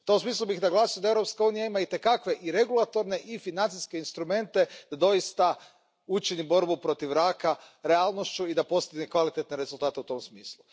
U tom smislu bih naglasio da Europska unija ima itekakve i regulatorne i financijske instrumente da doista učini borbu protiv raka realnošću i da postigne kvalitetne rezultate u tom smislu.